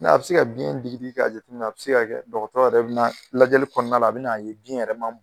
Ŋ'a bɛ se ka biyɛn digi digi k'a jatemin'a bɛ se ka kɛ dɔgɔtɔrɔ yɛrɛ bɛ na lajɛli kɔɔna la a bɛ n'a ye biyɛn yɛrɛ man